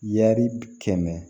Yaari kɛmɛ